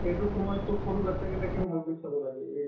এইটো সময়তো সৰু batch কেইটাকে ভাবি চাব লাগে এই